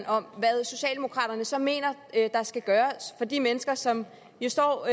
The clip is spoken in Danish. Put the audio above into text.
om hvad socialdemokraterne så mener der skal gøres for de mennesker som jo står